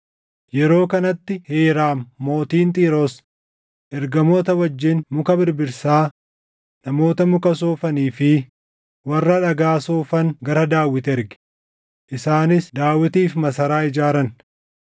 Yeroo kanatti Hiiraam mootiin Xiiroos ergamoota wajjin muka birbirsaa, namoota muka soofanii fi warra dhagaa soofan gara Daawit erge; isaanis Daawitiif masaraa ijaaran.